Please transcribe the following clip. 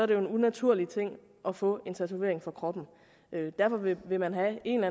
det jo en unaturlig ting at få en tatovering på kroppen derfor vil vil man have en